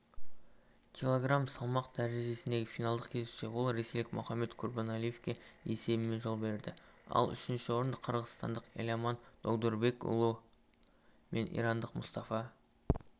кг салмақ дәрежесіндегі финалдық кездесуде ол ресейлік мухаммад курбаналиевке есебімен жол берді ал үшінші орынды қырғызстандық эламан догдурбек-уули мен ирандық мустафа